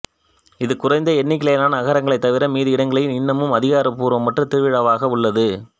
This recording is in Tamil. இது குறைந்த எண்ணிக்கையிலான நகரங்கள் தவிர மீதி இடங்களில் இன்னமும் அதிகாரப்பூர்வமற்ற திருவிழாவாக உள்ளது